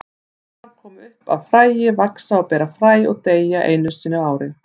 Þær koma upp af fræi, vaxa og bera fræ og deyja á einu ári.